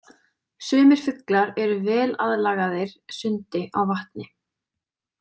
Sumir fuglar eru vel aðlagaðir sundi á vatni.